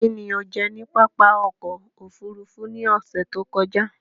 Kín ni o jẹ ní pápá oko-òfurufú ní ọ̀sẹ̀ tí ó kọjá?